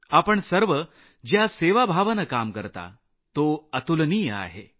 आपण सर्व ज्या सेवाभावानं काम करता तो अतुलनीय आहे